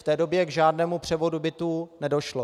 V té době k žádnému převodu bytů nedošlo.